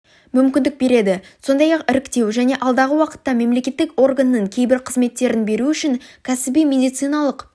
мүмкіндік береді сондай-ақ іріктеу және алдағы уақытта мемлекеттік органның кейбір қызметтерін беру үшін кәсіби медициналық